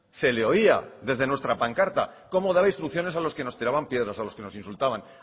se le oía desde nuestra pancarta cómo daba instrucciones a los que nos tiraban piedras a los que nos insultaban